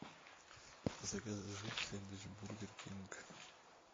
закажи сэндвич бургер кинг